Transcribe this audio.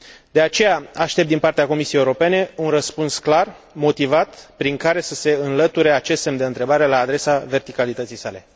De aceea, aștept din partea Comisiei Europene un răspuns clar, motivat, prin care să se înlăture acest semn de întrebare la adresa verticalității sale.